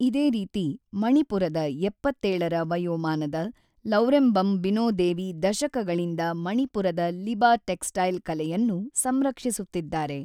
ಇದೇ ರೀತಿ ಮಣಿಪುರದ ೭೭ ರ ವಯೋಮಾನದ ಲೌರೆಂಬಮ್ ಬಿನೊದೇವಿ ದಶಕಗಳಿಂದ ಮಣಿಪುರದ ಲಿಬಾ ಟೆಕ್ಸಟೈಲ್ ಕಲೆಯನ್ನು ಸಂರಕ್ಷಿಸುತ್ತಿದ್ದಾರೆ.